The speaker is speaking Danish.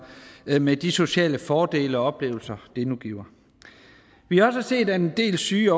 med de sociale fordele og oplevelser det nu giver vi har også set at en del syge